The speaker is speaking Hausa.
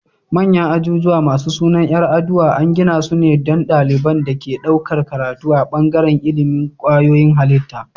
Manyan ajujuwa masu sunan yar aduwa an gidasu ne don daliban da ke ɗaukar karatu a bangaran ilimin kwayoyin halitta